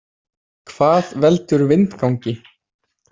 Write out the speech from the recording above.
Hvað veldur vindgangi?